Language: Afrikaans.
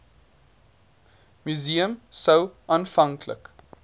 museum sou aanvanklik